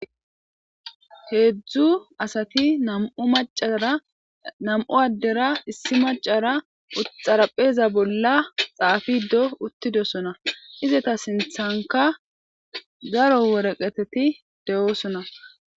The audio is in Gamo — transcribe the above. heedzdzu asati namu macara nam7u addera issi macara uxarapheeza bolla xaafido uttidosona ize ta sinthanka garo woreqeteti de7oosona